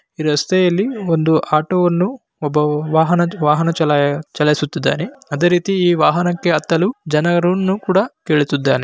ಈ ರಸ್ತೆಯಲ್ಲಿ ಒಂದು ಆಟೋವನ್ನು ಒಬ್ಬ ವಾಹನ-ವಾಹನ ಚಲಾ-ಚಲಾಯಿಸುತ್ತಿದ್ದಾನೆ ಅದೇ ರೀತಿ ಈ ವಾಹನಕ್ಕೆ ಅತ್ತಲು ಜನರನ್ನು ಕೂಡ ಕೇಳುತ್ತಿದ್ದಾನೆ .